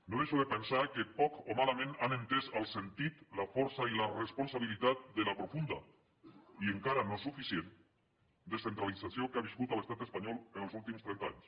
no deixo de pensar que poc o malament han entès el sentit la força i la responsabilitat de la profunda i encara no suficient descentralització que ha viscut l’estat espanyol els últims trenta anys